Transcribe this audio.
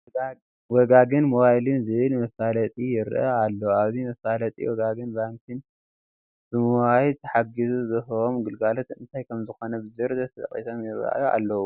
ወጋግን ሞባይል ዝብል መፋለጢ ይርአ ኣሎ፡፡ ኣብዚ መፋለጢ ወጋገን ባንኪ ብሞባይል ተሓጊዙ ዝህቦም ግልጋሎት እንታይ ከምዝኾኑ ብዝርዝር ተጠቒሶም ይርአዩ ኣለዉ፡፡